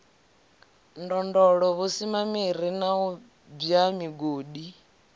ndondolo vhusimamiri u bwa migodi